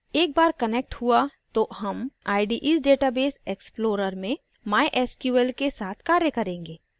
एक बार connected हुआ तो हम ide s database explorer में mysql के साथ कार्य करेंगे